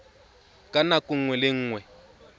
ka nako nngwe le nngwe